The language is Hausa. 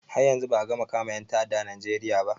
Har yanzu ba a gama kama ƴan ta'adda a najeriya ba